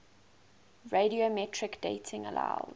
radiometric dating allows